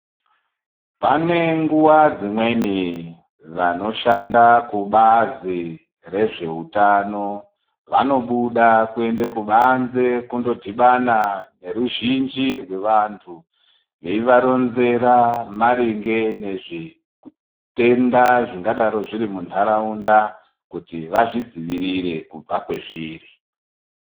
Pane nguwa dzimweni vanoshanda kubazi rezveutano vanobuda kuende kubanze kundodhibana neruzhinji rwevantu, veivaronzera maringe nezvitenda zvingadaro zviri muntaraunda kuti vazvidzivirire kubva kwezviri.